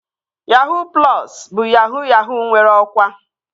Yahuu plọsu bụ yahuu yahuu nwere ọkwa